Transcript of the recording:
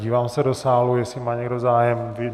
Dívám se do sálu, jestli má někdo zájem.